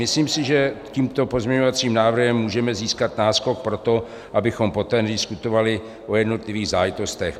Myslím si, že tímto pozměňovacím návrhem můžeme získat náskok pro to, abychom poté nediskutovali o jednotlivých záležitostech.